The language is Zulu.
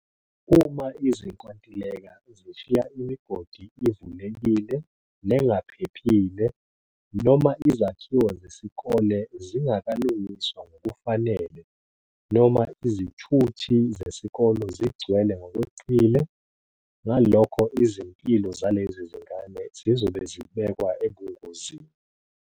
Uma izinkontileka zishiya imigodi ivulekile nengaphe phile noma izakhiwo zesikole zingakalungiswa ngokufanele noma izithuthi zesikole zigcwele ngokweqile, ngalokho izimpilo zalezi zingane zizobe zibekwa ebungozini.